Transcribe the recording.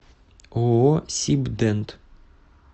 ооо сибдент